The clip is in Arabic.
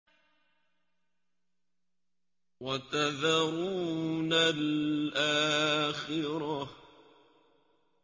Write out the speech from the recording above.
وَتَذَرُونَ الْآخِرَةَ